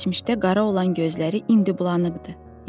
Keçmişdə qara olan gözləri indi bulanıqdır, yaşarırdı.